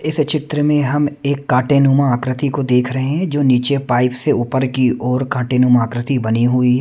इस चित्र में हम एक कांटे नुमा आकृति को देख रहे हैं जो नीचे पाइप से ऊपर की ओर कांटे नुमा आकृति बनी हुई--